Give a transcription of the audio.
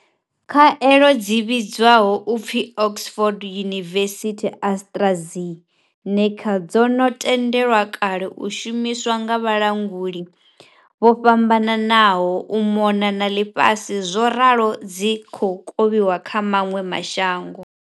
Khaelo dzi vhidzwaho u pfi Oxford University AstraZe neca dzo no tendelwa kale u shumiswa nga vhalanguli vho fhambananaho u mona na ḽifhasi zworalo dzi khou kovhiwa kha maṅwe ma shango.